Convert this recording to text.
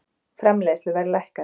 Framleiðsluverð lækkaði